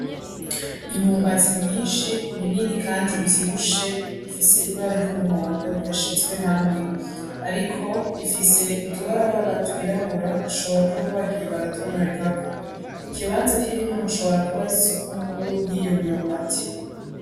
Imyumbatsi myinshi minini, kandi ivyibushe ifise ibara ry'umuhondo yashizwe hamwe, ariko ifise utubarabara twirabura ashobora kuba bagiye baratonorerako ikibanza k'irimwo hashobora kuba ari soko nkuru y'iyo myumbatsi.